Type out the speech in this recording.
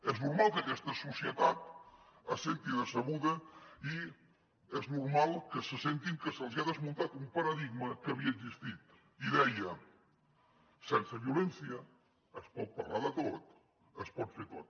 és normal que aquesta societat se senti decebuda i és normal que sentin que se’ls ha desmuntat un paradigma que havia existit i deia sense violència es pot parlar de tot es pot fer tot